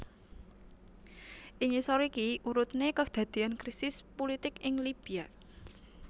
Ing ngisor iki urutne kedadean krisis pulitik ing Libya